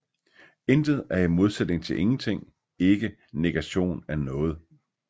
Intet er i modsætning til ingenting ikke negation af noget